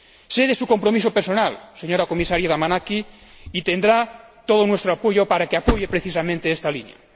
Sé de su compromiso personal, señora Comisaria Damanaki, y tendrá todo nuestro apoyo para que respalde precisamente esta línea.